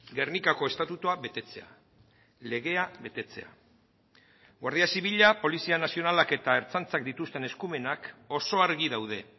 gernikako estatutua betetzea legea betetzea guardia zibila polizia nazionalak eta ertzaintzak dituzten eskumenak oso argi daude